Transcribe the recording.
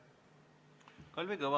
Kalvi Kõva.